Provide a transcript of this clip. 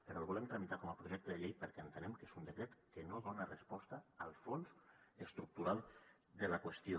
però el volem tramitar com a projecte de llei perquè entenem que és un decret que no dona resposta al fons estructural de la qüestió